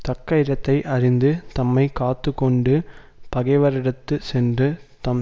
தக்க இடத்தை அறிந்து தம்மை காத்து கொண்டு பகைவரிடத்து சென்று தம்